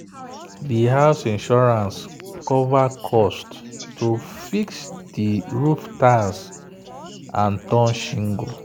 the house insurance cover cost to fix the roof tiles and torn shingle.